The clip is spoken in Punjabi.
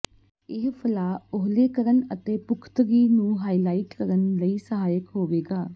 ਇਹ ਫਲਾਅ ਓਹਲੇ ਕਰਨ ਅਤੇ ਪੁਖ਼ਤਗੀ ਨੂੰ ਹਾਈਲਾਈਟ ਕਰਨ ਲਈ ਸਹਾਇਕ ਹੋਵੇਗਾ